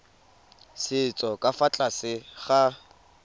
setso ka fa tlase ga